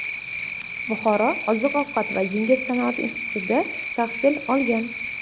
Buxoro oziq-ovqat va yengil sanoat institutida tahsil olgan.